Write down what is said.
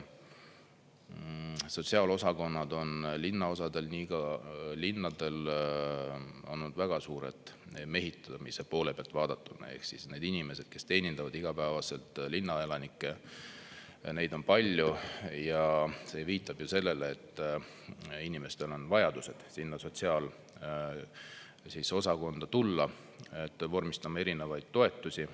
Sotsiaalosakonnad on linnaosadel ja ka linnadel olnud väga suured mehitamise poole pealt vaadatuna ehk need inimesed, kes teenindavad igapäevaselt linnaelanikke, neid on palju, ja see viitab sellele, et inimestel on vajadused sinna sotsiaalosakonda tulla vormistama erinevaid toetusi.